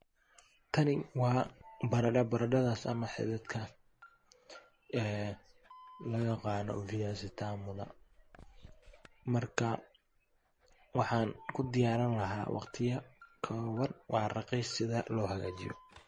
Tani waa barado baradadhas ama xidhidhidka loyaqano viazi tamudha marka waxan kudiyarilaha waqtiyo koban waa raqiis sidha logajiyo lohagajiyo